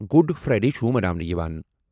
Good Friday چُھ مَناونہٕ یِوان۔